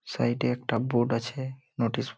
side -এ একটা board আছে নোটিস--